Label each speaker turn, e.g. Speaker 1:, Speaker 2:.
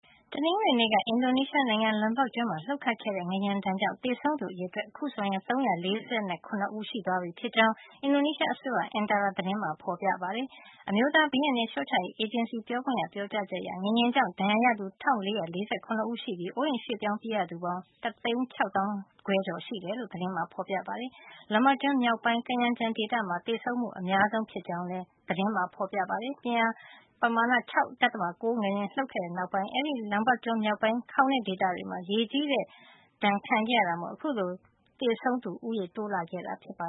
Speaker 1: တနင်္ဂနွေနေ့က အင်ဒိုနီးရှား နိုင်ငံ Lombok ကျွန်းမှာ လှုပ်ခတ်ခဲ့တဲ့ ငလျင်ဒဏ်ကြောင့် သေဆုံးရသူအရေအတွက် ဟာ အခုဆိုရင် ၃၄၇ ဦး ရှိသွားပြီဖြစ်ကြောင်း အင်ဒိုနီးရှားအစိုး့ရဲ့ Antara သတင်းမှာဖေါ်ပြထားပါတယ်။ ဒါ့အပြင် အမျိုးသား ဘေးအန္တရာယ် လျှော့ချရေး အေဂျင်စီ ပြောခွင့်ရ Sutopo Purwo Nugroho ရဲ့ ပြောကြားချက်အရ ငလျင်ကြောင့် ဒဏ်ရာရသူက ၁၄၄၇ ဦး ရှိနေပြီး အိုးအိမ်ရွှေ့ပြောင်းပြေးရသူပေါင်းက ၁၆၅ ၀၀၀ ကျော် ရှိနေတယ်လို့ သတင်းမှာ ဖေါ်ပြထားပါတယ်။ Lombok ကျွန်းမြောက်ပိုင်းက Kayangan ဒေသမှာ သေဆုံးမှု အများဆုံး ဖြစ်ကြောင်းလည်း Antara သတင်မှာ ဖေါ်ပြပါတယ်။ ပြင်းအား ပမာဏ ၆.၉ ရှိတဲ့ငလျင် လှုပ်ခတ်ခဲ့တဲ့ နောက်ပိုင်း အဲဒီ Lombok ကျွန်းမြောက်ပိုင်းက ခေါင်တဲ့ ဒေသတွေမှာ ရေကြီးတဲ့ဒဏ် ခံခဲ့ရတာမို့ အခုလို
Speaker 2: သေဆုံးသူ ဦးရေ တိုးလာခဲ့တာပါ